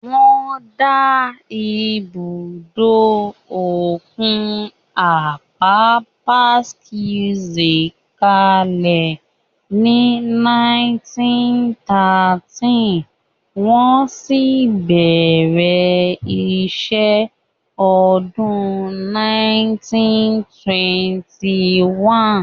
Wọ́n dá ibùdó òkun Apapa Quays kalẹ̀ ní 1913, wọ́n sì bẹ̀rẹ̀ iṣẹ́ ní ọdún 1921